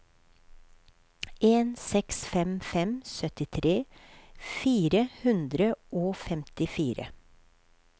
en seks fem fem syttitre fire hundre og femtifire